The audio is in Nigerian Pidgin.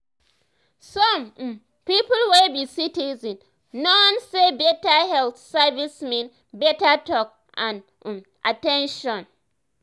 some um people wey be citizen know say better health um service mean better talk and um at ten tion.